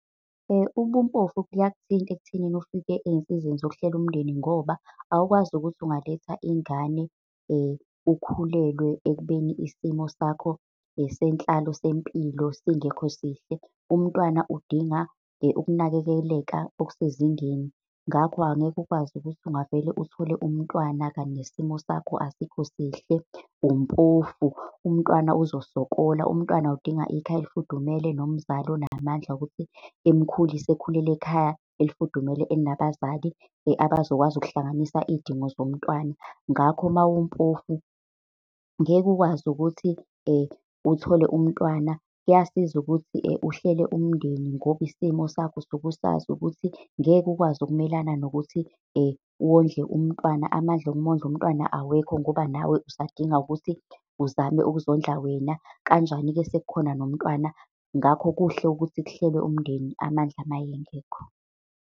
Ubumpofu buyakuthinta ekuthenini ufike ey'nsizeni zokuhlela umndeni, ngoba awukwazi ukuthi ungaletha ingane ukhulelwe ekubeni isimo sakho senhlalo, sempilo singekho sihle. Umntwana udinga ukunakekeleka okusezingeni. Ngakho angeke ukwazi ukuthi ungavele uthole umntwana, kanti nesimo sakho asikho sihle, umpofu, umntwana uzosokola. Umntwana udinga ikhaya elifudumele nomzali onamandla ukuthi emukhulise, ekhulele ekhaya elifudumele elinabazali abazokwazi ukuhlanganisa izidingo zomntwana. Ngakho mawumpofu ngeke ukwazi ukuthi uthole umntwana, kuyasiza ukuthi uhlele umndeni ngoba isimo sakho usuke usazi ukuthi ngeke ukwazi ukumelana nokuthi wondle umntwana. Amandla okumondla umntwana awekho ngoba nawe usadinga ukuthi uzame ukuzokudla wena, kanjani-ke sekukhona nomntwana. Ngakho kuhle ukuthi kuhlelwe umndeni amandla mayengekho.